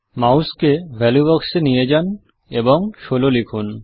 মাউসকে value box এ নিয়ে যান এবং ১৬ লিখুন